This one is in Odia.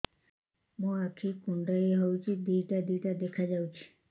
ମୋର ଆଖି କୁଣ୍ଡାଇ ହଉଛି ଦିଇଟା ଦିଇଟା ଦେଖା ଯାଉଛି